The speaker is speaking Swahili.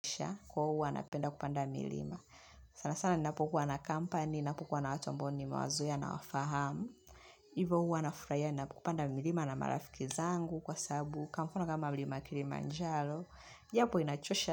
Kwa huwa napenda kupanda milima. Sana sana ninapokuwa na company, ninapokuwa na watu ambao nimawazoea nawafahamu. Hivo huwa nafurahia, ninapopanda milima na marafiki zangu kwa sababu, kwa mfano kama mlima kiimanjaro, ijapo inachosha.